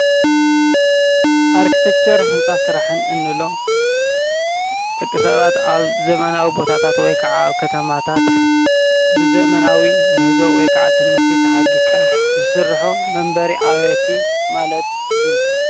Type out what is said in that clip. አርክቴክቸር ህንፃ ስራሕን እንብሎም ደቂሰባት አብ ዘመናዊ ቦታታት ወይ ከዓ አብ ከተማታት ብዘመናዊ ምህዞ ወይ ከዓ ትምህርቲ ተሓጊዝካ ዝስርሑ መንበሪ ኣባይቲ ማለት እዪ ።